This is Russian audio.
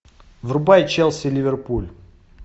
врубай челси ливерпуль